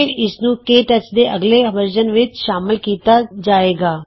ਫਿਰ ਇਸਨੂੰ K touch ਦੇ ਅਗਲੇ ਵਰਜ਼ਨ ਵਿਚ ਸ਼ਾਮਲ ਕੀਤਾ ਜਾਏਗਾ